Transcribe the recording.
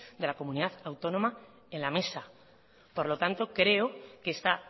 de la comunidad autónoma en la mesa por lo tanto creo que esta